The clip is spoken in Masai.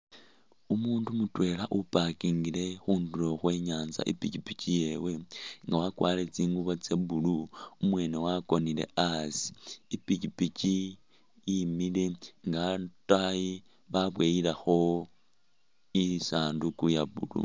Umundu mutwela upakingile khundulo khwe nyanza ipikipiki yewe nga wakwarile tsingubo tsa'blue umwene wakonile asi ipikipiki yemile ne ataayi baboyilekho isanduku ya blue